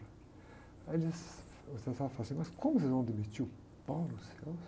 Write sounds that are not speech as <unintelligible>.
Aí ele diz, o José Safra fala assim, mas como vocês vão demitir o? <unintelligible>